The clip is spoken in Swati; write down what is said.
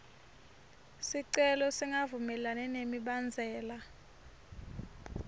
sicelo singavumelani nemibandzela